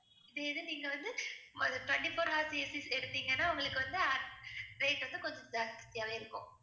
நீங்க வந்து twenty-four hours AC s எடுத்தீங்கன்னா உங்களுக்கு வந்து rate வந்து கொஞ்சம் ஜாஸ்தியாவே இருக்கும்